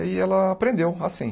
E aí ela aprendeu, assim.